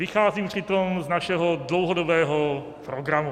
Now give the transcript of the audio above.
Vycházím přitom z našeho dlouhodobého programu.